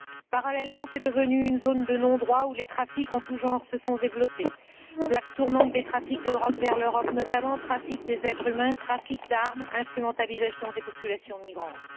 Parallèlement, c'est devenu une zone de non droit, où les trafics en tout genre se sont développés plaque tournante des trafics de drogue vers l'Europe, notamment, trafic d'êtres humains, trafic d'armes, instrumentalisation des populations migrantes.